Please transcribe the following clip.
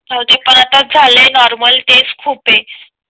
हो ते पण त पण आता झाले नॉर्मल तेच खूप आहे